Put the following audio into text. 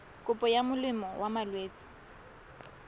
kopo ya molemo wa malwetse